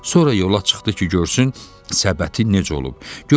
Sonra yola çıxdı ki, görsün səbəti necə olub.